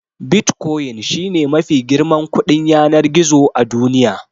Bitcoin shi ne mafi girman kuɗin yanar gizo a duniya.